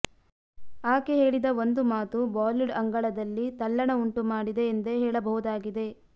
ಆಕೆ ಹೇಳಿದ ಒಂದು ಮಾತು ಬಾಲಿವುಡ್ ಅಂಗಳದಲ್ಲಿ ತಲ್ಲಣ ಉಂಟು ಮಾಡಿದೆ ಎಂದೇ ಹೇಳ ಬಹುದಾಗಿದೆ